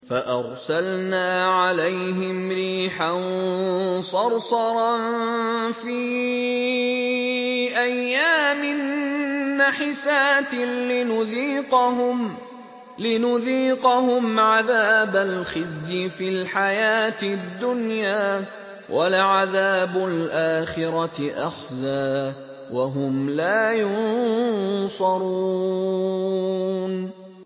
فَأَرْسَلْنَا عَلَيْهِمْ رِيحًا صَرْصَرًا فِي أَيَّامٍ نَّحِسَاتٍ لِّنُذِيقَهُمْ عَذَابَ الْخِزْيِ فِي الْحَيَاةِ الدُّنْيَا ۖ وَلَعَذَابُ الْآخِرَةِ أَخْزَىٰ ۖ وَهُمْ لَا يُنصَرُونَ